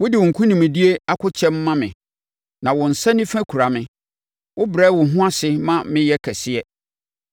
Wode wo nkonimdie akokyɛm ma me, na wo nsa nifa kura me. Wobrɛ wo ho ase ma meyɛ kɛseɛ.